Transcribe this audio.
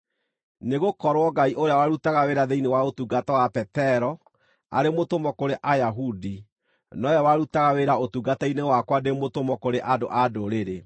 Nĩgũkorwo Ngai ũrĩa warutaga wĩra thĩinĩ wa ũtungata wa Petero arĩ mũtũmwo kũrĩ Ayahudi, nowe warutaga wĩra ũtungata-inĩ wakwa ndĩ mũtũmwo kũrĩ andũ-a-Ndũrĩrĩ.